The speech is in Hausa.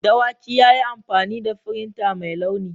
Dawaki ya yi amfani da firinta mai launi.